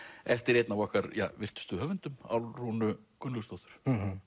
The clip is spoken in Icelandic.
eftir einn af okkar virtustu höfundum Álfrúnu Gunnlaugsdóttur